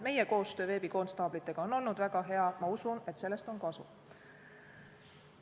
Meie koostöö veebikonstaablitega on olnud väga hea ja ma usun, et sellest on kasu.